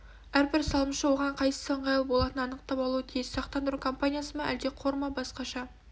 әрбір салымшы оған қайсысы ыңғайлы болатынын анықтап алуы тиіс сақтандыру компаниясы ма әлде қор ма басқаша